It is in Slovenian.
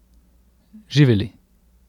Živeli!